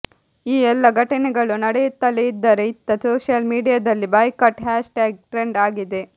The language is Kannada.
ಈ ಎಲ್ಲ ಘಟನೆಗಳು ನಡೆಯುತ್ತಲೇ ಇದ್ದರೆ ಇತ್ತ ಸೋಶಿಯಲ್ ಮೀಡಿಯಾದಲ್ಲಿ ಬಾಯ್ಕಾಟ್ ಹ್ಯಾಷ್ ಟ್ಯಾಗ್ ಟ್ರೆಂಡ್ ಆಗಿದೆ